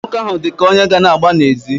Nwoke ahụ dị ka onye ga-ana agba n'ezi.